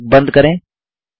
कोष्ठक बंद करें